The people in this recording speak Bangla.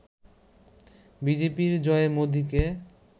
বিজেপির জয়ে মোদিকে